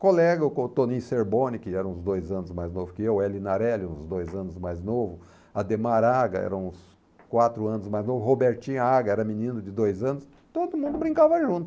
Colega, o co Toninho Cerboni, que era uns dois anos mais novo que eu, o Elinarelli, uns dois anos mais novo, Ademar Aga, era uns quatro anos mais novo, Robertinho Aga, era menino de dois anos, todo mundo brincava junto.